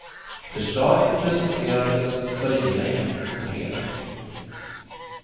Förslaget presenterades för regeringen på fredagen.